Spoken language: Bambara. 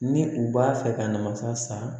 Ni u b'a fɛ ka na masa san